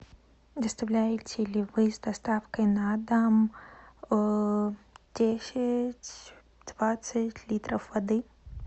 доставляете ли вы с доставкой на дом десять двадцать литров воды